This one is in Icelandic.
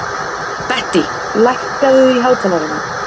Bettý, lækkaðu í hátalaranum.